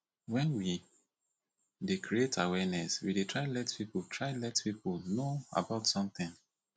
when we dey create awareness we dey try let pipo try let pipo know about something